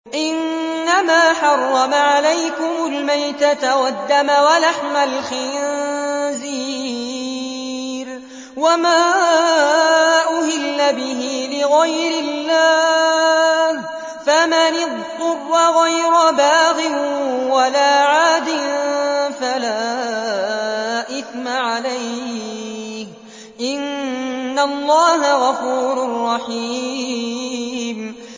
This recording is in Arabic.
إِنَّمَا حَرَّمَ عَلَيْكُمُ الْمَيْتَةَ وَالدَّمَ وَلَحْمَ الْخِنزِيرِ وَمَا أُهِلَّ بِهِ لِغَيْرِ اللَّهِ ۖ فَمَنِ اضْطُرَّ غَيْرَ بَاغٍ وَلَا عَادٍ فَلَا إِثْمَ عَلَيْهِ ۚ إِنَّ اللَّهَ غَفُورٌ رَّحِيمٌ